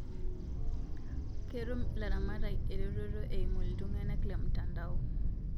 Ketum ilaramatak erototo eimu iltangana te mtandao